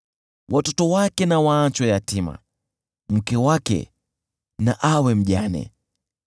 Watoto wake na waachwe yatima, mke wake na awe mjane.